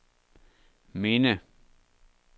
minde